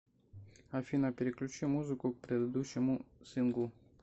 афина переключи музыку к предыдущему синглу